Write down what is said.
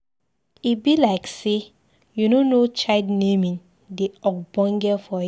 E be like say you no know child naming dey ogbonge for here.